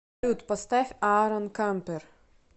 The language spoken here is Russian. салют поставь аарон кампер